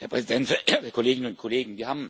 Herr Präsident, werte Kolleginnen und Kollegen!